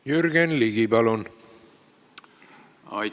Jürgen Ligi, palun!